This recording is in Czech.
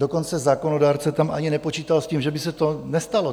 Dokonce zákonodárce tam ani nepočítal s tím, že by se to nestalo.